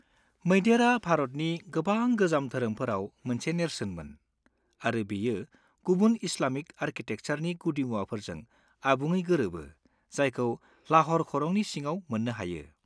-मैदेरआ भारतनि गोबां गोजाम धोरोमफोराव मोनसे नेरसोनमोन, आरो बेयो गुबुन इस्लामिक आरकिटेकचारनि गुदिमुवाफोरजों आबुङै गोरोबो जायखौ लाह'र खरंनि सिङाव मोननो हायो।